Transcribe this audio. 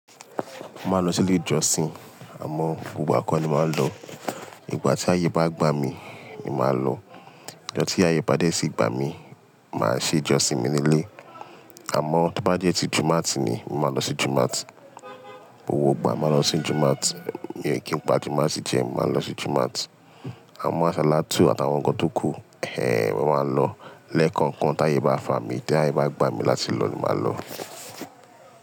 Mo máa ń lọ sí ilé ìjọsìn, àmọ́ gbogbo ìgbà ọ́ ni máa ń lọ. Ìgbà tí ayé bá gbá mi, ni màá lọ. Ọjọ́ tí ayé bá dẹ̀ tí gba mí, màá ṣe ìjọsìn mi ní ilé. Àmọ́ tí ó bá jẹ́ ti Jímọ̀átì ni, mó máa lọ sí Jímọ̀átì. O gbogbo gbà máa lọ sí Jímọ̀átì. Kí pa Jímọ̀átì jẹ, mó máa lọ sí Jímọ̀átì. Àmọ́ àsálátú àtàwọn ǹkan tó kù, ẹhn! Mo máa lọ. Ẹlẹ́kọ̀ọ̀kan tí ayé bá fà mí, tí ayé bá gbá mi láti lọ, ni màá lọ.